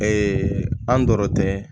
an dɔrɔn tɛ